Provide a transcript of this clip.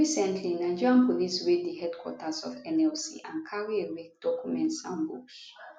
recently nigeria police raid di headquarters of nlc and carry away documents and books